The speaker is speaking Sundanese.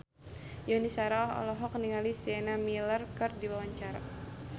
Yuni Shara olohok ningali Sienna Miller keur diwawancara